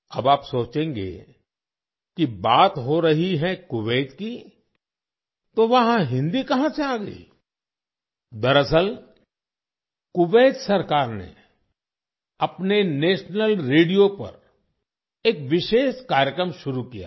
अब आप सोचेंगे कि बात हो रही है कुवैत की तो वहाँ हिन्दी कहाँ से आ गई दरअसल कुवैत सरकार ने अपने नेशनल रेडियो पर एक विशेष कार्यक्रम शुरू किया है